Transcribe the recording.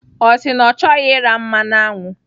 Ọ sị na ọ chọghị ira mmanụ aṅụ.